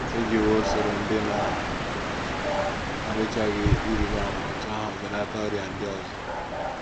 E jiwo usoro ndị na - adịchaghị ịrịba ama otú ahụ belata ọrịa ndị ọzọ.